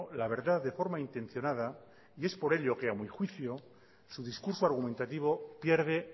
la verdad de forma intencionada y es por ello que a mi juicio su discurso argumentativo pierde